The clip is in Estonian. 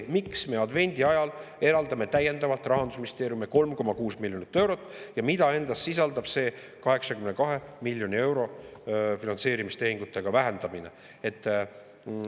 Miks me advendiajal eraldame täiendavalt Rahandusministeeriumile 3,6 miljonit eurot ja mida endas sisaldab see 82 miljoni euro võrra finantseerimistehingute vähendamine?